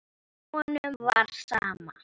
Honum var sama.